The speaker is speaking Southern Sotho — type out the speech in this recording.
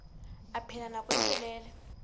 a phela nako e telele